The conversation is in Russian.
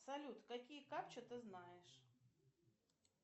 салют какие капчи ты знаешь